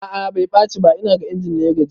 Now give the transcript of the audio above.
A'a bai ɓaci ba, inaga injin ne ya gaji